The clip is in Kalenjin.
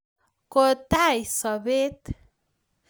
kotai sapet